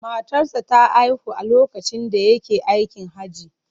Matarsa ​​ta haihu a lokacin da yake aikin Hajji.